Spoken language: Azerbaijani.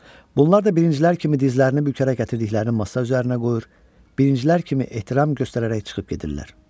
Bunlar da birincilər kimi dizlərini bükərək gətirdiklərini masa üzərinə qoyur, birincilər kimi ehtiram göstərərək çıxıb gedirlər.